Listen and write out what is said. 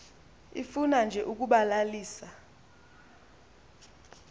ifuna nje ukubalalisa